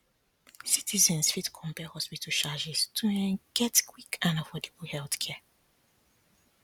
citizens fit compare hospital charges to um get quick and affordable healthcare